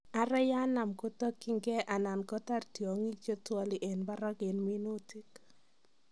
Ara yanam kotokyikee anan kotaar tyongik chetwali en barak en minuutik